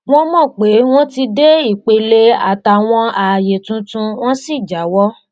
wọn mọ pé wọn ti dé ipele àtàwọn ààyè tuntun wọn sì jáwọ